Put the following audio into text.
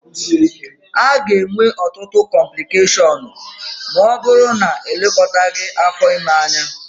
A ga-enwe ọtụtụ cọmplịkeshọnụ ma ọ bụrụ na-elekọtaghi afọ ime anya